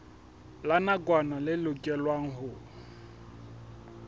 la nakwana le lokelwang ho